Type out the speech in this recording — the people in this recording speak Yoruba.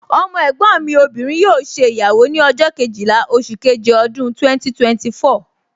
Ọmọ ẹ̀gbọ́n mi obìnrin yóò ṣe ìyàwó ní ọjọ́ Kejìlá oṣù keje ọdún 2024